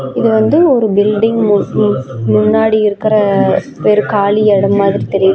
இது வந்து ஒரு பில்டிங் மு மு முன்னாடி இருக்கற வெரு காலியெட மாதிரி தெரியிது.